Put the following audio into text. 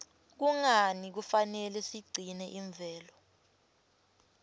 kungani kufanele sigcine imvelo